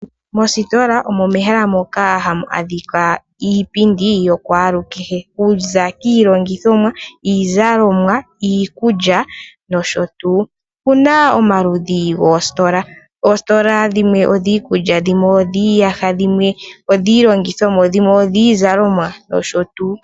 Moositola omo mehala moka ha mu adhika iipindi yaaluhe, okuza kiilongithomwa, iizalomwa, iikulya, nosho tuu. Okuna omaludhi goositola , oositola dhimwe odhiikulya, dhimwe odhiiyaha, dhimwe odhiizalomwa nosho tuu.